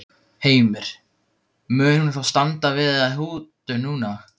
Heimir, mun hún þá standa við þá hótun núna?